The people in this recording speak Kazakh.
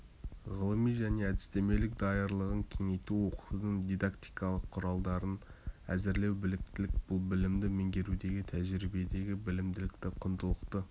ғылыми және әдістемелік даярлығын кеңейту оқытудың дидактикалық құралдарын әзірлеу біліктілік бұл білімді меңгерудегі тәжірибедегі білімділікті құндылықты